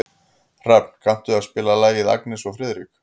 Hrafn, kanntu að spila lagið „Agnes og Friðrik“?